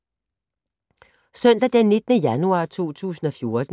Søndag d. 19. januar 2014